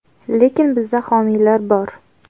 Lekin bizda homiylar bor.